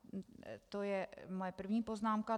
To je moje první poznámka.